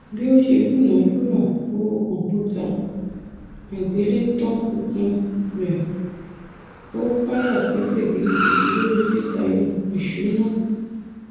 bí ó ṣe dúnàádúrà owó kọmpútà àgbélétan tuntun rẹ ó ó káyà sókè gidigidi lórí títayọ ìṣúná